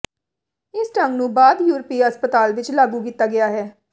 ਇਸ ਢੰਗ ਨੂੰ ਬਾਅਦ ਯੂਰਪੀ ਹਸਪਤਾਲ ਵਿਚ ਲਾਗੂ ਕੀਤਾ ਗਿਆ ਹੈ